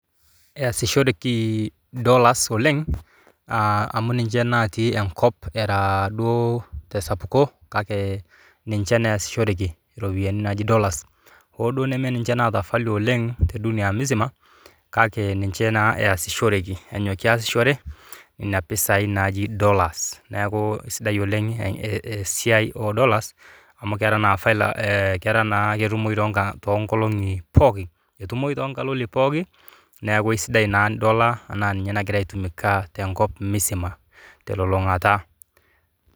Easishoreki dollars oleng amu ninye natii enkop era duoo tesapuko ninche naa easishoreki dollars hoo duo nimeniche naata value oleng te dunia mzima kake ninche naa easishoreki ina pisaai naaji dollars esiaai oo dollars amu kera na ketumoki too nkaloli pooki olosho